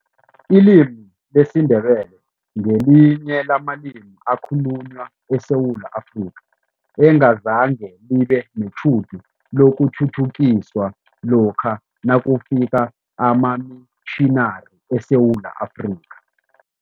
Ilimi lesiNdebele ngelinye lamalimi ekhalunywa eSewula Afrika, engazange libe netjhudu lokuthuthukiswa lokha nakufika amamitjhinari eSewula Afrika.